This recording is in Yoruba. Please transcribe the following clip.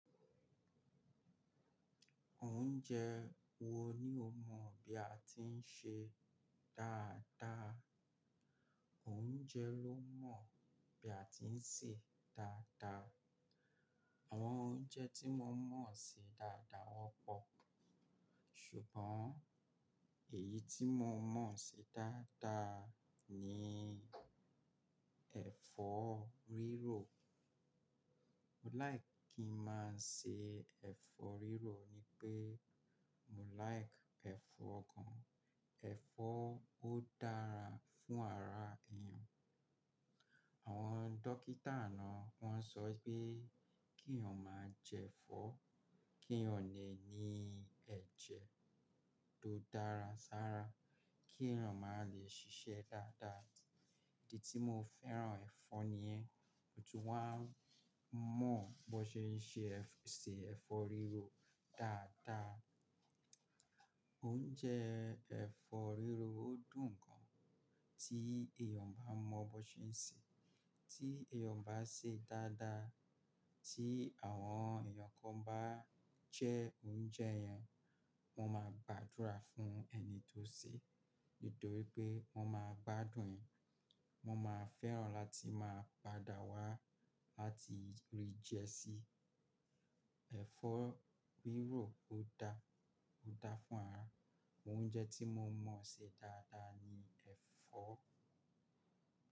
Oúnjẹ wo ni o mọ̀ bí a tí ń ṣe dáada. Oúnjẹ ló mọ̀ bí a ti ń sè dáadáa. Àwọn oúnjẹ tí mo mọ̀ ń se dáada wọ́n pọ̀. Ṣùgbọ́n èyí tí mo mọ̀ ṣe dáadáa ni ẹ̀fọ́ rírò. Mo láì kí n máa ṣe ẹ̀fọ́ rírò ni pé mo láìkì ẹ̀fọ́ gan. Èfó ó dára fún ara ènìyàn àwon dókítà náà wón so wípé kí ènìyàn máa je èfó kí ènìyàn le è ní èjè tó dára sára kí ènìyàn ma lè sisé dáada ìdí tí mo fẹ́ràn ẹ̀fọ́ nì yen, mo tún wá mọ̀ bó ṣé n ṣe ẹ̀fọ́ rírò dáada. Oúnjẹ ẹ̀fọ́ rírò ó dùn gan tí èèyàn bá mọ bó ṣé ń sè é. Tí èèyàn bá sè é dáada, tí àwọn èèyàn kan bá jẹ oúnjẹ yẹn, wọ́n má gbàdúrà fún ẹni tó sè é nítorí pé wọ́n máa gbádùn ẹ̀. Wọ́n ma fẹ́ràn láti máa padà wá láti rí jẹ si. Èfó rírò, ó da, ó da fún ara. Oúnjẹ tí mo mọ̀ ṣe dáadáa ni ẹ̀fọ́.